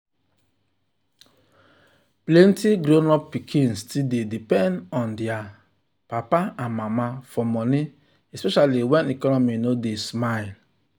plenty grown pikin still dey depend on their papa and mama for money especially when economy no dey smile.